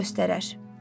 qardaşın göstərər.